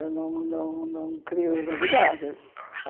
Eu não não não crio novidades.